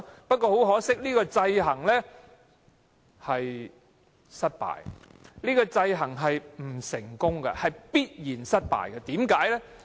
不過，很可惜，這個制衡是失敗和不成功的，是必然失敗的。